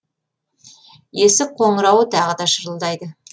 есік қоңырауы тағы да шырылдайды